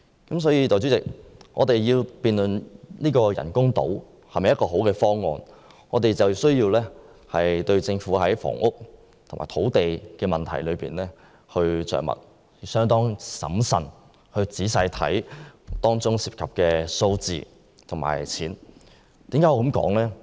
代理主席，我們若要辯論人工島是否一個好方案，便需要在政府處理房屋和土地問題的工作方面着墨，審慎仔細地看看當中涉及的數字和金額。